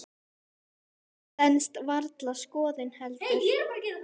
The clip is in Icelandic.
Það stenst varla skoðun heldur.